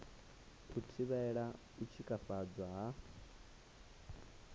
u thivhela u tshikafhadzwa ha